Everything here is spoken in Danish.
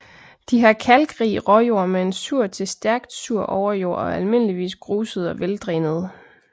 De har kalkrig råjord med en sur til stærkt sur overjord og er almindeligvis grusede og veldrænede